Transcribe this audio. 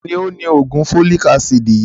Taani òni oògùn folic-acid yìí